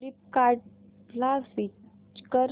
फ्लिपकार्टं ला स्विच कर